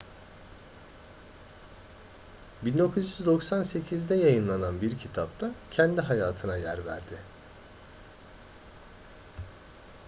1998'de yayınlanan bir kitapta kendi hayatına yer verdi